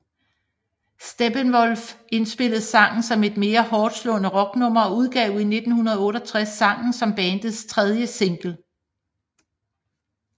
Steppenwolf indspillede sangen som et mere hårdtslående rocknummer og udgav i 1968 sangen som bandets tredje single